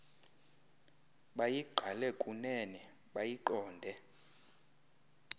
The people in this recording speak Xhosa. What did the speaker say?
bayigqale kunene bayiqonde